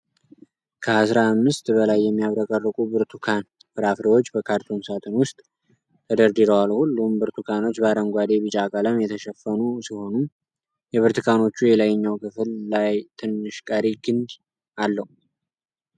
ከአስራ አምስት በላይ የሚያብረቀርቁ ብርቱካን ፍራፍሬዎች በካርቶን ሳጥን ውስጥ ተደርድረዋል። ሁሉም ብርቱካኖች በአረንጓዴ-ቢጫ ቀለም የተሸፈኑ ሲሆኑ፣ የብርቱካኖቹ የላይኛው ክፍል ላይ ትንሽ ቀሪ ግንድ አለው።